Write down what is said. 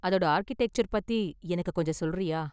அதோட ஆர்க்கிடெக்சர் பத்தி எனக்கு கொஞ்சம் சொல்றியா?